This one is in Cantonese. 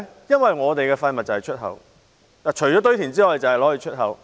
因為我們的廢物除了堆填之外，只會出口。